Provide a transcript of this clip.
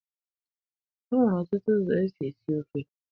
E nwere ọtụtụ ụzọ e si esi ofe.